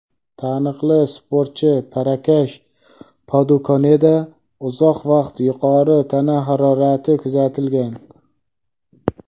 taniqli sportchi Prakash Padukoneda uzoq vaqt yuqori tana harorati kuzatilgan.